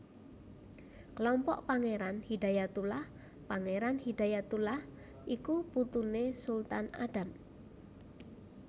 Kelompok Pangéran Hidayatullah Pangéran Hidayatullah iku putuné Sultan Adam